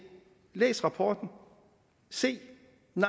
læs rapporten se